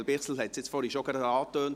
Daniel Bichsel hat es bereits angetönt: